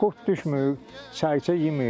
Qurd düşmür, səricə yemir.